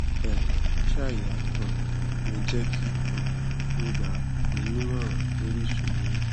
ẹ ǹ lẹ sàìyá um mi jẹ kí um n gbà yín ní ìmọràn lórí ìṣòro yín